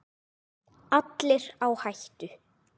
Allir á hættu.